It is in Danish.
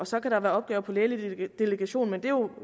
så kan der være opgaver på lægelig delegation men det er jo